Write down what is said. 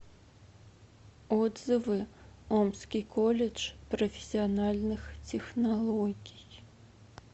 отзывы омский колледж профессиональных технологий